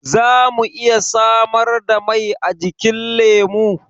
Za mu iya samar da mai ajikin lemu?